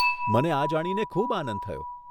મને આ જાણીને ખૂબ આનંદ થયો.